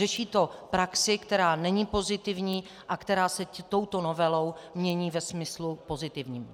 Řeší to praxi, která není pozitivní a která se touto novelou mění ve smyslu pozitivním.